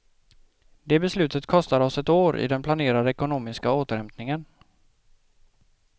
Det beslutet kostar oss ett år i den planerade ekonomiska återhämtningen.